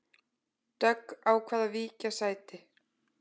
Dögg ákvað að víkja sæti